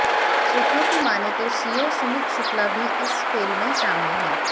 सूत्रों की मानें तो सीओ सुमित शुक्ला भी इस खेल में शामिल है